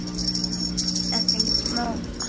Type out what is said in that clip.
Þetta er engin smá kalli.